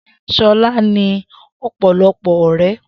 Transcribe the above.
Shola ní ọ̀pọ̀lọpọ̀ ọ̀rẹ́